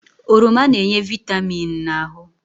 Oroma na-enye vịtamịn na ahụ.